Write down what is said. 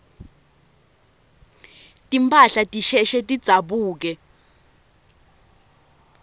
timphahla tisheshe tidzabuke